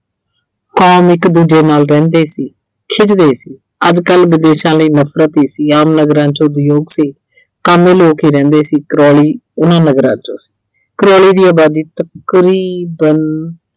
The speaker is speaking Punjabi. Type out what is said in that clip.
ਆਮ ਇੱਕ ਦੂਜੇ ਨਾਲ ਰਹਿੰਦੇ ਸੀ। ਖਿਝਦੇ ਸੀ। ਅੱਜਕੱਲ ਵਿਦੇਸ਼ਾਂ ਲਈ ਨਫਰਤ ਹੀ ਸੀ। ਆਮ ਨਗਰਾਂ 'ਚ ਉਦਯੋਗ ਸੀ, ਕਾਮੇ ਲੋਕ ਹੀ ਰਹਿੰਦੇ ਸੀ। Crawley ਉਨ੍ਹਾਂ ਨਗਰਾਂ ਚੋਂ ਸੀ Crawley ਦੀ ਆਬਾਦੀ ਤਕਰੀਬਨ